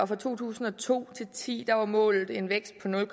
fra to tusind og to til ti var målet en vækst